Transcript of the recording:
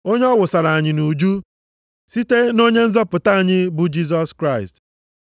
onye ọ wụsara anyị nʼuju site nʼOnye nzọpụta anyị bụ Jisọs Kraịst,